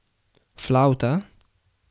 Flavta?